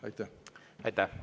Aitäh!